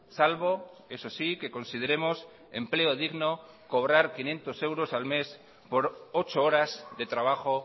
salvo eso sí que consideremos empleo digno cobrar quinientos euros al mes por ocho horas de trabajo